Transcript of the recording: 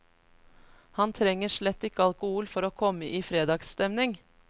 Han trenger slett ikke alkohol for å komme i fredagsstemning.